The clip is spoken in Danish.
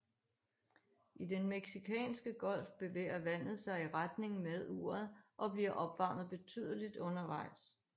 I Den Mexicanske Golf bevæger vandet sig i retning med uret og bliver opvarmet betydeligt undervejs